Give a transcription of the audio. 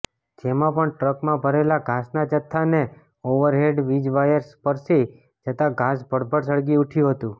જેમાં પણ ટ્રકમાં ભરેલા ઘાસના જથાને ઓવરહેડ વીજવાયર સ્પર્શી જતાં ઘાસ ભડભડ સળગી ઊઠયું હતું